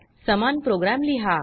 समान प्रोग्राम लिहा